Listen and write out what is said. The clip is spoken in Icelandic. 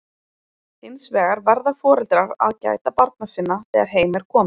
Hins vegar verða foreldrar að gæta barna sinna þegar heim er komið.